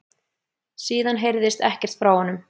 Síðan heyrðist ekkert frá honum